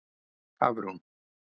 Hafrún